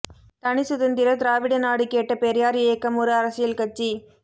தனிச்சுதந்திர திராவிட நாடு கேட்ட பெரியார் இயக்கம் ஒரு அரசியல் கட்சி